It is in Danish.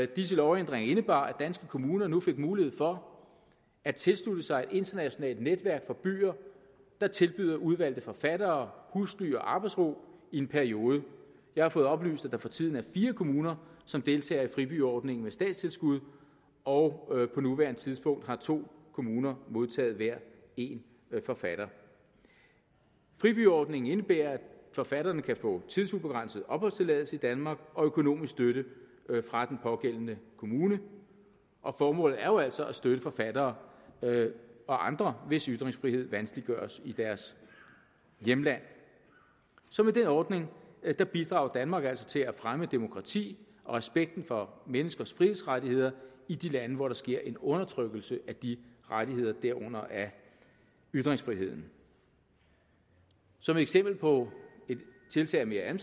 disse lovændringer indebar at danske kommuner nu fik mulighed for at tilslutte sig et internationalt netværk for byer der tilbyder udvalgte forfattere husly og arbejdsro i en periode jeg har fået oplyst at der for tiden er fire kommuner som deltager i fribyordningen med statstilskud og på nuværende tidspunkt har to kommuner modtaget hver en forfatter fribyordningen indebærer at forfatterne kan få tidsubegrænset opholdstilladelse i danmark og økonomisk støtte fra den pågældende kommune formålet er jo altså at støtte forfattere og andre hvis ytringsfrihed vanskeliggøres i deres hjemland så med den ordning bidrager danmark altså til at fremme demokrati og respekten for menneskers frihedsrettigheder i de lande hvor der sker en undertrykkelse af de rettigheder derunder af ytringsfriheden som et eksempel på et tiltag af